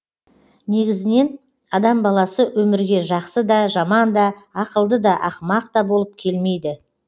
негізінен адам баласы өмірге жақсы да жаман да ақылды да ақымақ та болып келмейді